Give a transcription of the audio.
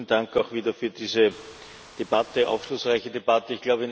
Vielen Dank auch wieder für diese aufschlussreiche Debatte.